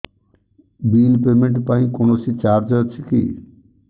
bill payment ପାଇଁ କୌଣସି charge ଅଛି କି